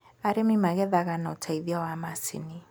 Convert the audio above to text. arĩmi magethaga na uteithio wa macinĩ